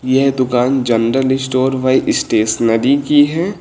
ये दुकान general store बाई स्टेशनरी की है।